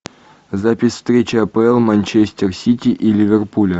запись встречи апл манчестер сити и ливерпуля